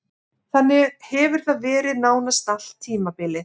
Þannig hefur það verið nánast allt tímabilið.